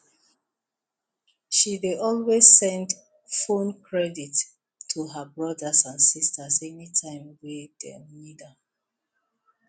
she dey always send phone credit to her brothers and sisters anytime wey dem need am